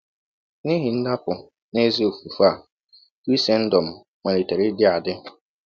N’ihi ndapụ n’ezi ofufe a, Krisendọm malitere ịdị adị.